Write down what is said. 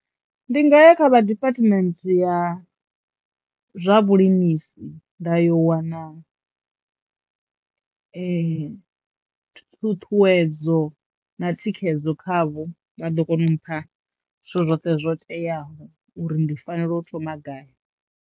Ndi nga ya kha vha diphathimenthe ya zwa vhulimisi nda yo wana ṱhuṱhuwedzo na thikhedzo kha vho, vha ḓo kona u mpha zwithu zwoṱhe zwo teaho uri ndi fanela u thoma gai.